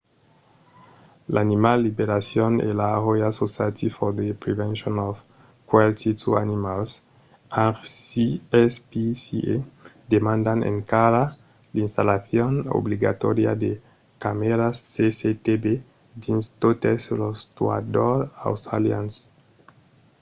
animal liberation e la royal society for the prevention of cruelty to animals rspca demandan encara l’installacion obligatòria de camèras cctv dins totes los tuadors australians